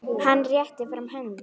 Hann réttir fram hönd.